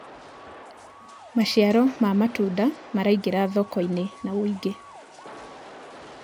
maciaro ma matunda maraingira thoko-inĩ na wũingi